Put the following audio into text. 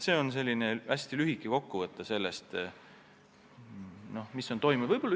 See on selline hästi lühike kokkuvõte sellest, mis on toimunud.